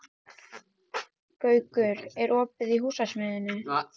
Gaukur, er opið í Húsasmiðjunni?